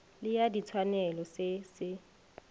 le ya ditshwanelo se se